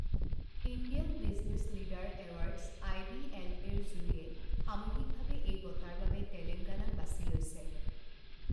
Indian business leader awards I B L এৰ জুৰিয়ে সামূহিকভাৱে এই বঁটাৰ বাবে তেলঙ্গাগানাক বাছি লৈছে।